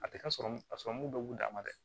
A tɛ ka sɔrɔ ka sɔrɔmu dɔ b'u dama dɛ